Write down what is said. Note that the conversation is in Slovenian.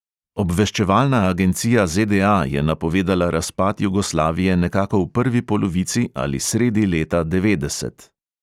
Obveščevalna agencija ZDA je napovedala razpad jugoslavije nekako v prvi polovici ali sredi leta devetdeset.